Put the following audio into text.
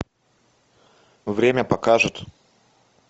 время покажет